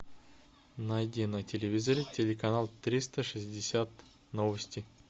найди на телевизоре телеканал триста шестьдесят новости